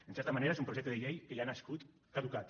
en certa manera és un projecte de llei que ja ha nascut caducat